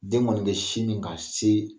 Den kɔni be sin min ka se